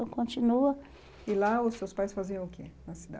Então continua... E lá os seus pais faziam o que na